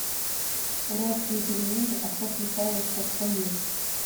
уральские пельмени а стас михайлов так поет